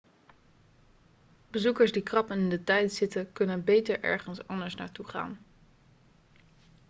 bezoekers die krap in de tijd zitten kunnen beter ergens anders naartoe gaan